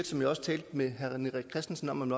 som jeg også talte med herre rené christensen om